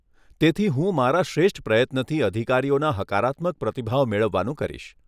તેથી, હું મારા શ્રેષ્ઠ પ્રયત્નથી અધિકારીઓના હકારાત્મક પ્રતિભાવ મેળવવાનું કરીશ.